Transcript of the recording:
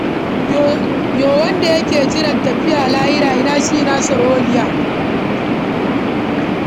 Yo wanda yake jiran tafiya lahira ina shi ina sharholiya?